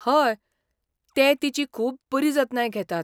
हय, ते तिची खूब बरी जतनाय घेतात.